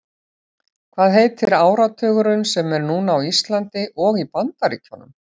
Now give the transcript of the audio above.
Hvaða heitir áratugurinn sem er núna á Íslandi og í Bandaríkjunum?